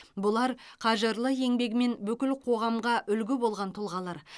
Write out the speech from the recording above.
бұлар қажырлы еңбегімен бүкіл қоғамға үлгі болған тұлғалар